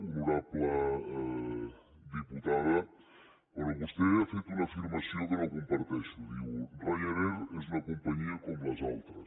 honorable diputada bé vostè ha fet una afirmació que no comparteixo diu ryanair és una companyia com les altres